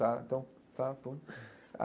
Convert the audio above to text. Tá, então, tá bom.